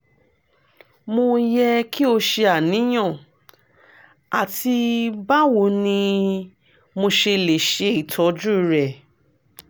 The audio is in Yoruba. mo yẹ ki o ṣe aniyan àti bawo ni mo ṣe le ṣe itọju rẹ?